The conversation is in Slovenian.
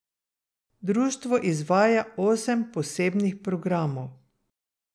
Društvo izvaja osem posebnih programov.